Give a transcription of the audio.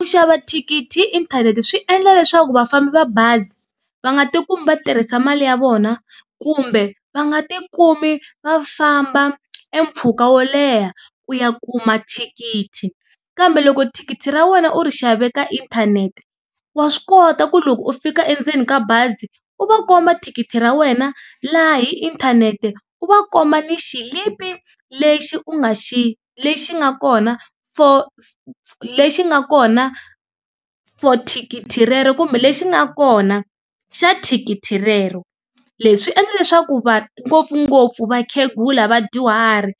Ku xava thikithi hi inthanete swi endla leswaku vafambi va bazi va nga tikumi va tirhisa mali ya vona kumbe va nga tikumi va famba e mpfhuka wo leha ku ya kuma thikithi kambe loko thikithi ra wena u ri xave ka inthanete wa swi kota ku loko u fika endzeni ka bazi u va komba thikithi ra wena laha hi inthanete u va komba ni xilipi lexi u nga xi lexi nga kona for lexi nga kona for thikithi rero kumbe lexi nga kona xa thikithi rero leswi endla leswaku ngopfungopfu vakhegula vadyuhari